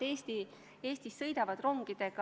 Jüri Jaanson, palun!